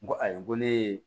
N ko ayi ko ne ye